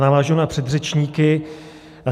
Navážu na předřečníky.